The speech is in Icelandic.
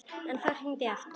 En þá er hringt aftur.